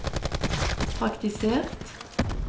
praktisert